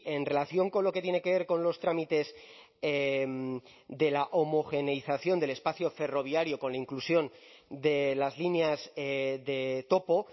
en relación con lo que tiene que ver con los trámites de la homogeneización del espacio ferroviario con la inclusión de las líneas de topo